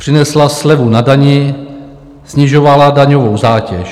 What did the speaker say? Přinesla slevu na dani, snižovala daňovou zátěž.